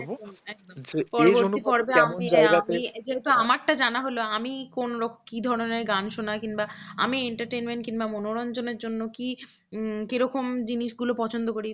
আমারটা যে জানা হলো আমি কোন আমি কি ধরনের গান শুনি আমি entertainment বা মনোরঞ্জনের জন্য কি কি রকম জিনিসগুলো পছন্দ করি